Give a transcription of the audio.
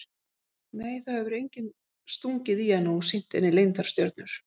Nei það hefur enginn stungið í hana og sýnt henni leyndar stjörnur.